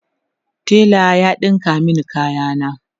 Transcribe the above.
tela ya ɗinka min kaya na